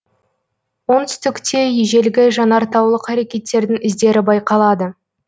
оңтүстікте ежелгі жанартаулық әрекеттердің іздері байқалады